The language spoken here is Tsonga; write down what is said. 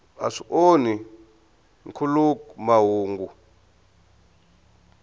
a swi onhi nkhuluk mahungu